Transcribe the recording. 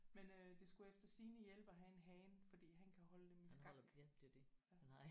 Men øh det skulle efter sigende hjælpe at have en hane fordi han kan holde dem i skak